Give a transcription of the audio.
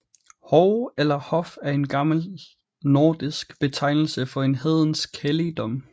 Hov eller hof er en gammel nordisk betegnelse for en hedensk helligdom